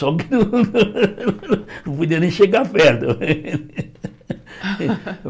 Só que não podia nem chegar perto.